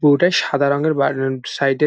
পুরোটাই সাদা রঙের বা র সাইড -এ।